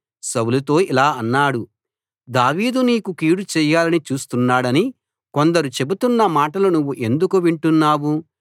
సౌలుతో ఇలా అన్నాడు దావీదు నీకు కీడుచేయాలని చూస్తున్నాడని కొందరు చెబుతున్న మాటలు నువ్వు ఎందుకు వింటున్నావు